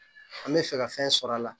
An bɛ fɛ ka fɛn sɔrɔ a la